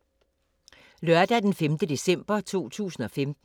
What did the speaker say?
Lørdag d. 5. december 2015